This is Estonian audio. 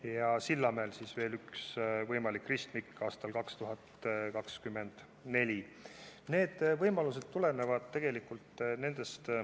Ja Sillamäel on plaanis veel üks võimalik ristmik aastaks 2024.